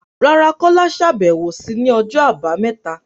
Rárá, Kola ṣàbẹ̀wò sí ní ọjọ́ Àbámẹ́ta